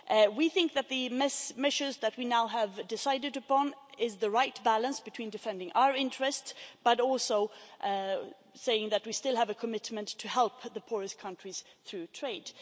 We think that the measures that we now have decided upon represent the right balance between defending our interests, but we are also saying that we still have a commitment to help the poorest countries through trade.